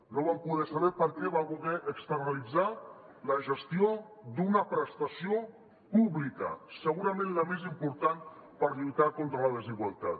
no vam poder saber perquè va voler externalitzar la gestió d’una prestació pública segurament la més important per lluitar contra la desigualtat